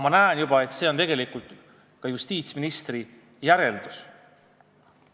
" Ma näen juba, et see on tegelikult ka justiitsministri järeldus.